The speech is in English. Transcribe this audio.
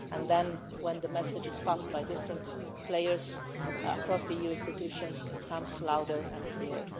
Then, when the message is passed by different players across the EU institutions, it becomes louder and clearer.